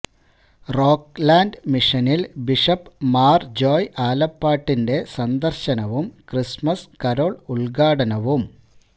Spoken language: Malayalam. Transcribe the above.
റോക്ക് ലാൻഡ് മിഷനിൽ ബിഷപ്പ് മാർ ജോയി ആലപ്പാട്ടിന്റെ സന്ദർശനവും ക്രിസ്തുമസ് കരോൾ ഉദ്ഘാടനവും